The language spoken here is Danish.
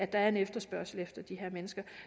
der er en efterspørgsel efter de her mennesker